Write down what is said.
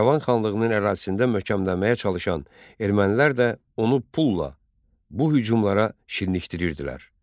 İrəvan xanlığının ərazisində möhkəmlənməyə çalışan ermənilər də onu pulla bu hücumlara şirnikdirirdilər.